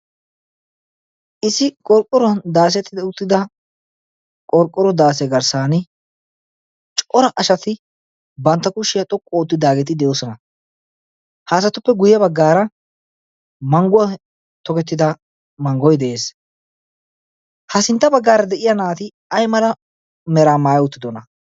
issi qorqqoran daasetid uttida qorqqoro daase garssan cora ashati bantta kushshiyaa xoqqu oottidaageeti de'oosona. haasatuppe guyye baggaara mangguwaa togettida manggoi de'ees. ha sintta baggaara de'iya naati ai mala meraa maaya uttidona?